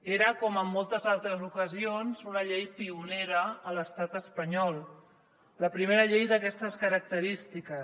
era com en moltes altres ocasions una llei pionera a l’estat espanyol la primera llei d’aquestes característiques